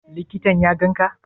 Likitan ya ganka?